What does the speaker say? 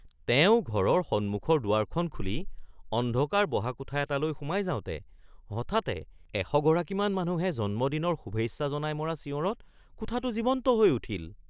তেওঁ ঘৰৰ সন্মুখৰ দুৱাৰখন খুলি অন্ধকাৰ বহা কোঠা এটালৈ সোমাই যাওঁতে হঠাতে এশগৰাকীমান মানুহে জন্মদিনৰ শুভেচ্ছা জনাই মৰা চিঞৰত কোঠাটো জীৱন্ত হৈ উঠিল